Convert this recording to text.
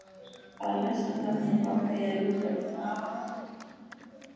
Að lestri loknum ákvað ég að ljúka við það.